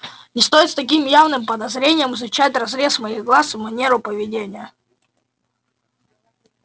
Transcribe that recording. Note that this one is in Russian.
не стоит с таким явным подозрением изучать разрез моих глаз и манеру поведения